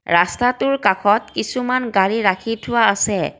ৰাস্তাটোৰ কাষত কিছুমান গাড়ী ৰাখি থোৱা আছে।